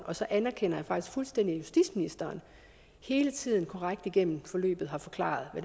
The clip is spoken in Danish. og så anerkender jeg faktisk fuldstændig at justitsministeren hele tiden korrekt igennem forløbet har forklaret